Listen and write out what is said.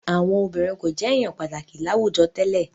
Àwọn obìnrin kò jẹ èèyàn pàtàkì láwùjọ tẹ́lẹ̀